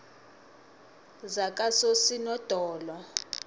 zakososinodolo